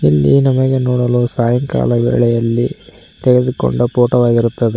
ಇಲ್ಲಿ ನಮಗೆ ನೋಡಲು ಸಾಯಂಕಾಲ ವೇಳೆಯಲ್ಲಿ ತೆಗೆದುಕೊಂಡ ಫೋಟೋ ವಾಗಿರುತ್ತದೆ.